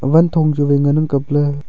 wangthong chu wai ngana kaple.